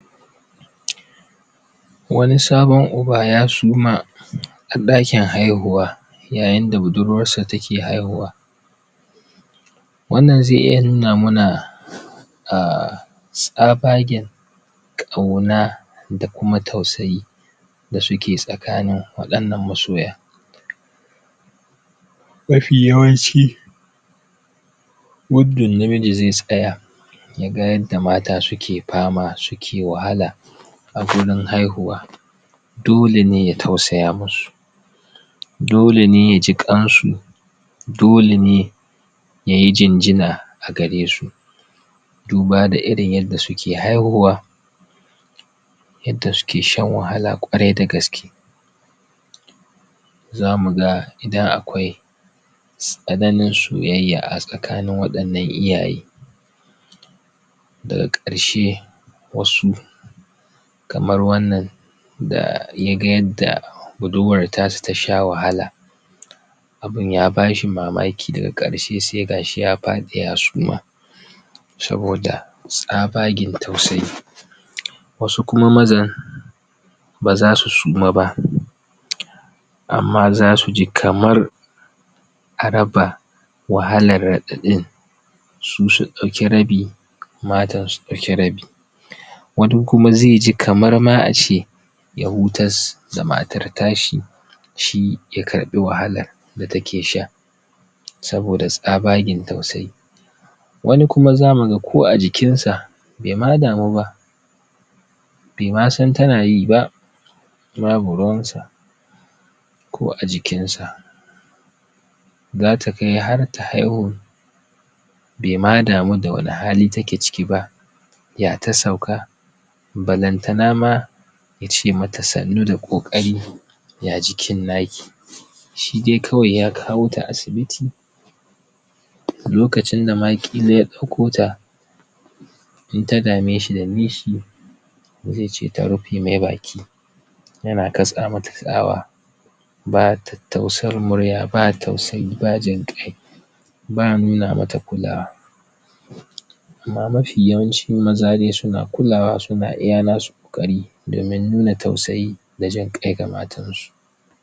wanisabon uba ya suma a dakin haihuwa yayin da buduruwarsa ta kehaihuwa wannan zai iya nuna ma na a tsabagen kauna da kuma tausayi da su ke tsakanin wdannan masoya mafi yawanci ?namiji zai tsaya ya ga yadda mata su ke fama su ke wahaka a gurin haihuwa dole ne ya tausaya mu su dole ne ye ji kasu dole ne ya yi jinjina a gare su duba da irin yadda su ke haihuwa yadda su ke shan wahala kwarai da gaske za mu ga idan akwai tsananin soyayya a tsakanin wadannan iyaye da ga karshe wasu kamar wannan da ya ga yadda buduruwar ta shi ta sha wahala abun ya ba shi mamaki da ga karshe sai ga shi ya fadi ya suma soboda tsabagen tausayi wasu kuma mazan ba za su suma ba amma za su ji kamar a raba wahalar? su su dauki rabi matan su dauki rabi wani kuma zai ji kuma kamar ma a ce ya hutar da mata ta shi shi ya karbi wahalar da ta ke sha soboda tsabagen tausayi wani ku ma za mu ga ko a jikin sa bai ma damu ba bai ma san ta na yi ba babu ruwan sa ko a jikin sa za ta kai har ta haihu bai ma damu da wane hali ta ke ciki ba ya ta sauka balan te na ma ya ce mata sannu da kokari ya jikin na ki shi dai kawai ya kawo ta asibiti lokacin da ma kila ya dauko ta in ta dame shi ta bi shi zai ce ta rufe mai baki ya na kasa ma ta sawa ba ta tausar murya ba tausayi ba jinkai ba a nuna mata kulawa amma mafi yawanchi maza dai su na kulawa su na iya na su kokari domin nuna tausayi da jin kai ga matan su